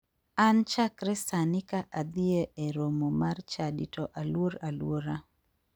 An chakre sani ka adhie e romo mar chadi to aluor aluora.